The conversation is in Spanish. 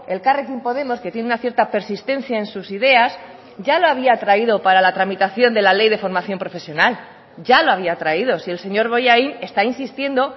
elkarrekin podemos que tiene una cierta persistencia en sus ideas ya lo había traído para la tramitación de la ley de formación profesional ya lo había traído si el señor bollain está insistiendo